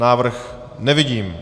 Návrh nevidím.